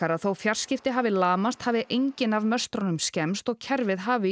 að þótt fjarskipti hafi lamast hafi engin af skemmst og kerfið hafi